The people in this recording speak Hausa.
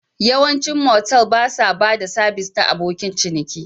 Yawancin motel ba sa ba da sabis na abokin ciniki